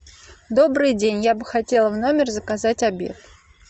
добрый день я бы хотела в номер заказать обед